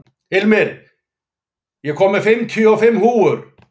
Hilmir, ég kom með fimmtíu og fimm húfur!